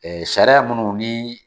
Ɛɛ sariya minnu ni